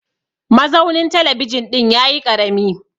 mazaunin talabijin ɗin ya yi karami